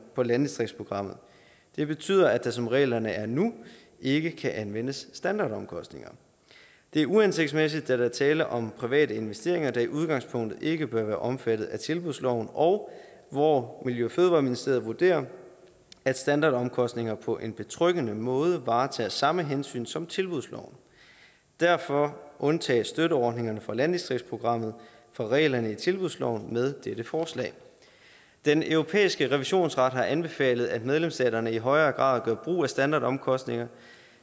på landdistriktsprogrammet det betyder at der som reglerne er nu ikke kan anvendes standardomkostninger det er uhensigtsmæssigt da der er tale om private investeringer der i udgangspunktet ikke bør være omfattet af tilbudsloven og hvor miljø og fødevareministeriet vurderer at standardomkostninger på en betryggende måde varetager samme hensyn som tilbudsloven derfor undtages støtteordningerne fra landdistriktsprogrammet fra reglerne i tilbudsloven med dette forslag den europæiske revisionsret har anbefalet at medlemsstaterne i højere grad gør brug af standardomkostninger